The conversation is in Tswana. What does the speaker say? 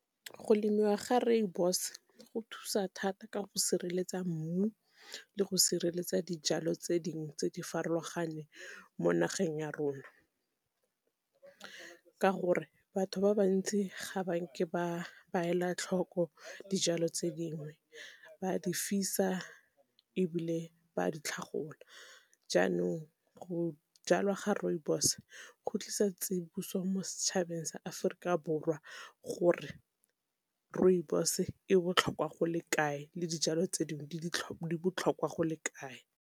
Go lemiwa ga rooibos go thusa thata ka go sireletsa mmu le go sireletsa dijalo tse dingwe tse di farologaneng mo nageng ya rona, ka gore batho ba bantsi ga ba nke ba ela tlhoko dijalo tse dingwe, ba di fisa ebile ba di tlhagolwa. Jaanong go jalwa ga rooibos go tlisa tsiboso mo setšhabeng sa Aforika Borwa gore rooibos e botlhokwa go le kae le dijalo tse dingwe di botlhokwa go le kae.